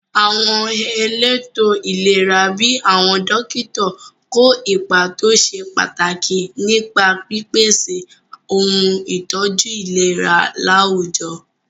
Àwọn elétò ìlera bíi àwọn dókítà kó ipa tó ṣe pàtàkì nípa pípèsè ohun ìtọ́jú ìlera láwùjọ.